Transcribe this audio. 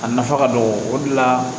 A nafa ka dɔgɔ o de la